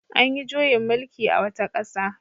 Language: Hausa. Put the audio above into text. An yi juyin mullki a wata ƙasa.